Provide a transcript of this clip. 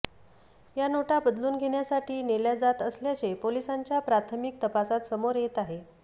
या नोटा बदलून घेण्यासाठी नेल्या जात असल्याचे पोलिसांच्या प्राथमिक तपासात समोर येत आहे